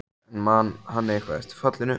En man hann eitthvað eftir fallinu?